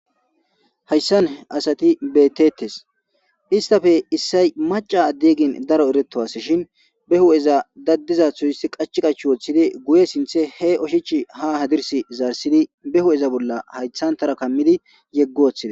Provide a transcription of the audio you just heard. Hayisan asati betetes histappe issay macca adde gin daro eretuasashin behueza dadidayisato qachi qachi wotidi guye sinte he ushachi ha hadirisi zarisidi ba huphe bola hayitan tora kamidi yegi wotides.